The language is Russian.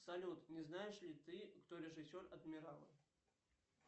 салют не знаешь ли ты кто режиссер адмирала